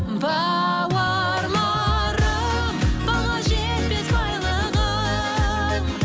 бауырларым баға жетпес байлығым